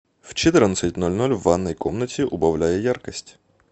в четырнадцать ноль ноль в ванной комнате убавляй яркость